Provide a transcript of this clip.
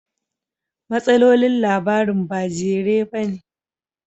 Matsalolin labarin ba jere ba ne